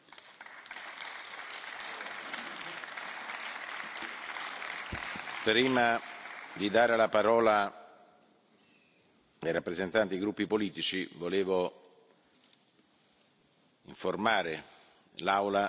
Prima di dare la parola ai rappresentanti dei gruppi politici, volevo informare l'Aula su ciò che ho detto durante il mio intervento di fronte al Consiglio europeo.